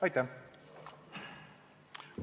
Aitäh!